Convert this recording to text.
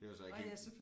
Det var så ikke helt